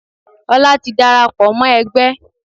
Ọlá ti dàràpọ̀ mọ́ ẹgbẹ́.